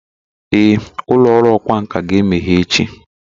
Ee, ụlọ ọrụ ọkwá nkà ga-emeghe echi